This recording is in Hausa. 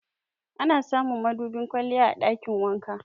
Ana samun madubin kwalliya a ɗakin wanka.